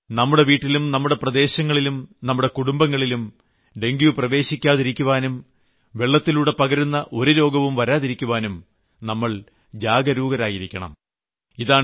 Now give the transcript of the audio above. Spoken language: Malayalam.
എന്നാൽ നമ്മുടെ വീട്ടിലും നമ്മുടെ പ്രദേശങ്ങളിലും കുടുംബങ്ങളിലും ഡെങ്ക്യു പ്രവേശിക്കാതിരിക്കാനും വെള്ളത്തിലൂടെ പകരുന്ന ഒരു രോഗവും വരാതിരിക്കാനും നാം ജാഗരൂകരായിരിക്കണം